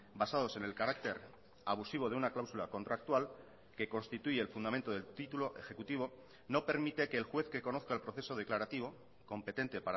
basados en el carácter abusivo de una cláusula contractual que constituye el fundamento del titulo ejecutivo no permite que el juez que conozca el proceso declarativo competente